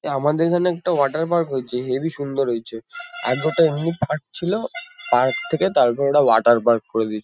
এ আমাদের এখানে একটা ওয়াটার পার্ক হয়েছে। হেবি সুন্দর হয়েছে। আগে ওটা এমনি পার্ক ছিল। পার্ক থেকে তারপর এরা ওয়াটার পার্ক করে দিয়ছ --